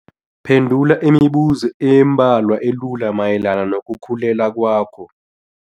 Phendula imibuzo embalwa elula mayelana nokukhulelwa kwakho.